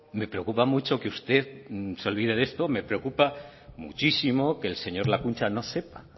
me preocupa mucho que usted se olvide de esto me preocupa muchísimo que el señor lakuntza no sepa